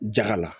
Jaga la